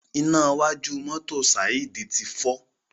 iná wájú mọ́tò Saheed tí fọ.